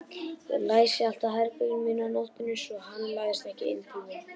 Ég læsi alltaf herberginu mínu á nóttunni svo hann læðist ekki inn til mín.